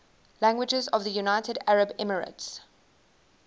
languages of the united arab emirates